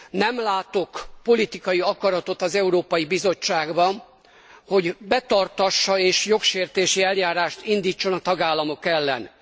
Nem látok politikai akaratot az Európai Bizottságban, hogy betartassa, és jogsértési eljárást indítson a tagállamok ellen.